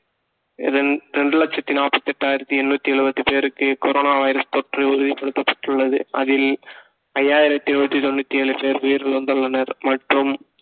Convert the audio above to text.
இதன் இரண்டு லட்சத்தி நாற்பத்தி எட்டாயிரத்தி எண்ணூத்தி எழுபத்தி பேருக்கு corona வைரஸ் தொற்று உறுதிப்படுத்தப்பட்டுள்ளது அதில் ஐயாயிரத்தி நூத்தி தொண்ணூத்தி ஏழு பேர் உயிரிழந்துள்ளனர் மற்றும்